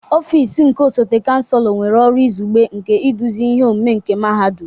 Ọfịs nke osote Chancellor nwere ọrụ izugbe nke iduzi ihe omume nke Mahadum.